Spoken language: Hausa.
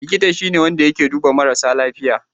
Likita shi ne wanda yake duba marasa lafiya.